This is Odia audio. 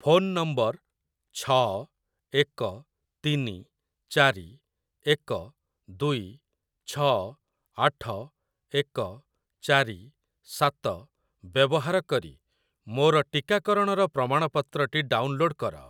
ଫୋନ୍ ନମ୍ବର ଛଅ ଏକ ତିନି ଚାରି ଏକ ଦୁଇ ଛଅ ଆଠ ଏକ ଚାରି ସାତ ବ୍ୟବହାର କରି ମୋର ଟିକାକରଣର ପ୍ରମାଣପତ୍ରଟି ଡାଉନଲୋଡ଼୍‌ କର ।